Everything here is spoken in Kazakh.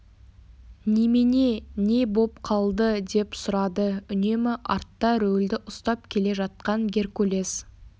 немене не боп қалды деп сұрады үнемі артта рөлді ұстап келе жатқан геркулес